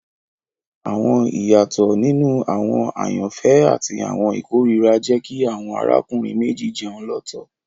Awọn iyatọ ninu awọn ayanfẹ ati awọn ikorira jẹ ki awọn arákùnrin méjì jẹun lọtọ